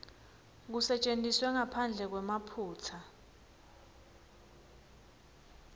kusetjentiswe ngaphandle kwemaphutsa